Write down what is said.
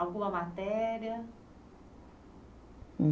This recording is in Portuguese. Alguma matéria?